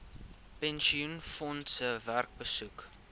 pensioenfondse werk besoek